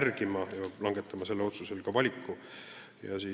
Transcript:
arvestama, enne kui langetab otsuse.